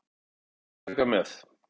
Ekki taka með.